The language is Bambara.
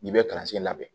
N'i bɛ kalansen labɛn